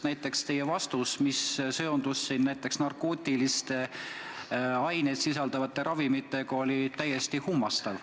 Näiteks teie vastus, kus te mainisite narkootilisi aineid sisaldavaid ravimeid, oli täiesti kummastav.